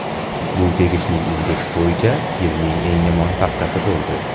Bu tegishli indeks bo‘yicha yilning eng yomon haftasi bo‘ldi.